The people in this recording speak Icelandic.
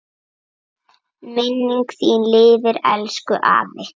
Minning þín lifir, elsku afi.